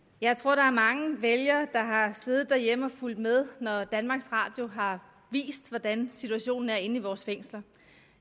jeg tror der er mange vælgere der har siddet derhjemme og fulgt med når danmarks radio har vist hvordan situationen er inde i vores fængsler